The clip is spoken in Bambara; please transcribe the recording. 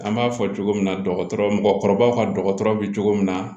An b'a fɔ cogo min na dɔgɔtɔrɔ mɔgɔkɔrɔbaw ka dɔgɔtɔrɔ bɛ cogo min na